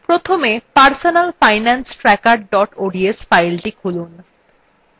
প্রথমে personalfinancetracker ods file খুলুন